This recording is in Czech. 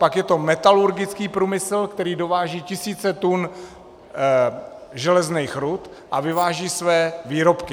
Pak je to metalurgický průmysl, který dováží tisíce tun železných rud a vyváží své výrobky.